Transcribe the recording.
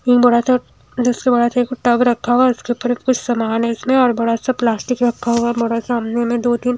निंबुडा का पुट्टा भी रखा हुआ है उसके ऊपर कुछ सामान है इसमें और बड़ासा प्लास्टिक रखा हुआ है मेरा सामने में दो तीन--